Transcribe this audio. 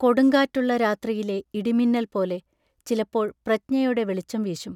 കൊടുങ്കാറ്റ് ഉള്ള രാത്രിയിലെ ഇടമിന്നൽ പോലെ ചിലപ്പോൾ പ്രജ്ഞയുടെ വെളിച്ചം വീശും.